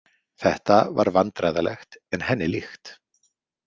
Þetta var vandræðalegt en henni líkt.